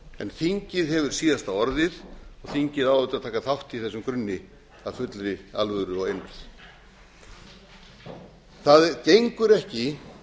en þingið hefur síðasta orðið og þingið á auðvitað að taka þátt í þessum grunni af fullri alvöru og einurð það gengur ekki